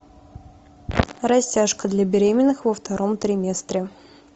растяжка для беременных во втором триместре